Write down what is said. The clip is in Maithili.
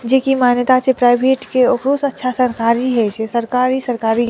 जे की मान्यता छे प्राइवेट के ओहो से अच्छा सरकारी हई छे सरकारी सरकारी --